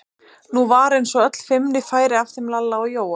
Nú var eins og öll feimni færi af þeim Lalla og Jóa.